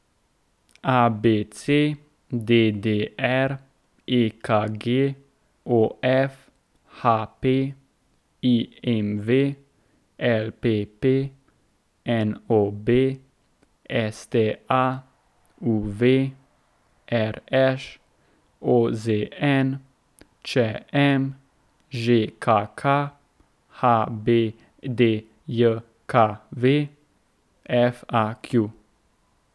A B C; D D R; E K G; O F; H P; I M V; L P P; N O B; S T A; U V; R Š; O Z N; Č M; Ž K K; H B D J K V; F A Q.